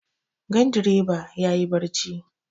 Gandireba ya yi barci.